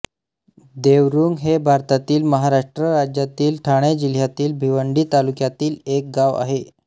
देवरुंग हे भारतातील महाराष्ट्र राज्यातील ठाणे जिल्ह्यातील भिवंडी तालुक्यातील एक गाव आहे